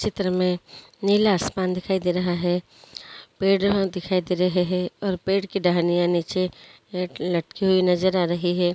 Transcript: चित्र में नीला आसमान दिखाई दे रहा है पड़े ह दिखाई दे रहे है और पेड़ की डहनिया नीचे ल लटकी हुई नज़र आ रही है।